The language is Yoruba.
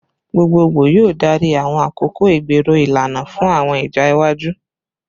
Gbogbogbo yoo darí awọn akoko igbero ilana fun awọn ija iwaju